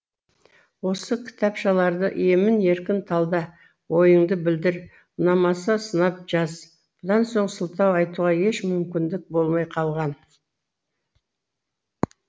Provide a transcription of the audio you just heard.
осы кітапшаларды емін еркін талда ойыңды білдір ұнамаса сынап жаз бұдан соң сылтау айтуға еш мүмкіндік болмай қалған